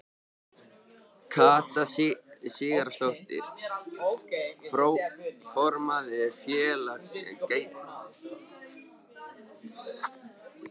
Katrín Sigurðardóttir, formaður Félags geislafræðinga: Hver er afstaða ríkisins?